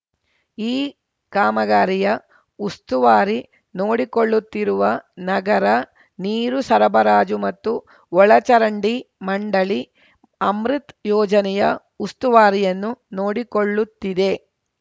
ಈ ಕಾಮಗಾರಿಯ ಉಸ್ತುವಾರಿ ನೋಡಿಕೊಳ್ಳುತ್ತಿರುವ ನಗರ ನೀರು ಸರಬರಾಜು ಮತ್ತು ಒಳಚರಂಡಿ ಮಂಡಳಿ ಅಮೃತ್‌ ಯೋಜನೆಯ ಉಸ್ತುವಾರಿಯನ್ನು ನೋಡಿಕೊಳ್ಳುತ್ತಿದೆ